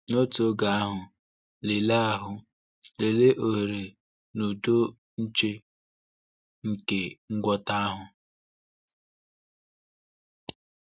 N’otu oge ahụ, lelee ahụ, lelee oghere n’ụdọ nche nke ngwọta ahụ.